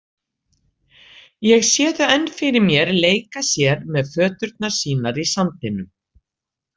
Ég sé þau enn fyrir mér leika sér með föturnar sínar í sandinum.